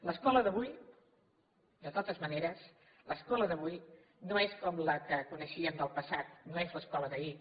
l’escola d’avui de totes maneres no és com la que coneixíem del passat no és l’escola d’ahir